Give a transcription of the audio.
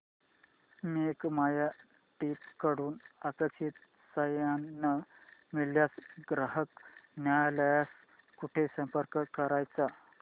make my trip कडून अपेक्षित सहाय्य न मिळाल्यास ग्राहक न्यायालयास कुठे संपर्क करायचा